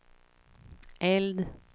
eld